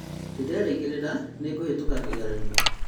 Nĩndĩrerĩgĩrĩra nĩngũhĩtũka kĩgeranio